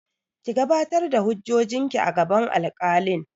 Ki gabatar da hujjojin ki a gaban alkalin!